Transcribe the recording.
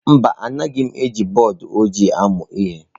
Mba Anaghị m eji bọọdụ ojii amụ ihe.